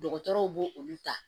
Dɔgɔtɔrɔw b'o olu ta